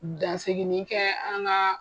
Dansigini kɛ an ka